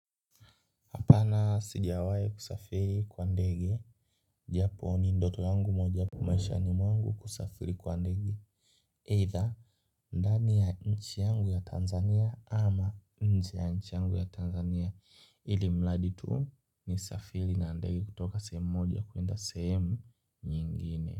Hapana sijiawahi kusafiri kwa ndege. Japo ni ndoto yangu mojawapo maishani mwangu kusafiri kwa ndege. Either ndani ya nchi yangu ya Tanzania ama nje ya nchi yangu ya Tanzania. Ilmradi tu nisafiri na ndege kutoka sehemu moja kuenda sehemu nyingine.